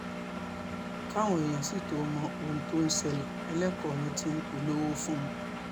káwọn èèyàn sì tóó mọ ohun tó ń ṣẹlẹ̀ ẹlẹ́kọ ọ̀run tí ń polówó fún un